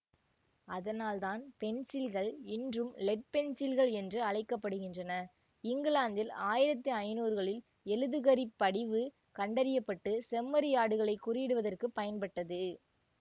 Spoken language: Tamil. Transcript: அதனால்தான் பென்சில்கள் இன்றும் லெட் பென்சில்கள் என்று அழைக்க படுகின்றன இங்கிலாந்தில் ஆயிரத்தி ஐநூறு களில் எழுதுகரி படிவு கண்டறிய பட்டு செம்மறியாடுகளைக் குறியிடுவதற்கு பயன்பட்டது